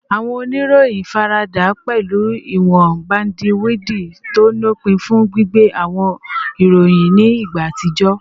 Awọn oniroyin farada pẹlu iwọn bandiwidi to lopin fun gbigbe awọn iroyin ni igba atijọ